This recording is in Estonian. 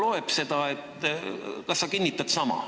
Võib-olla ta loeb seda.